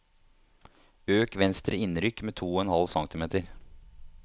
Øk venstre innrykk med to og en halv centimeter